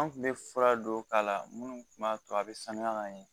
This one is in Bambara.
An kun bɛ fura dɔw k'a la minnu tun b'a to a bɛ sanuya ka ɲɛ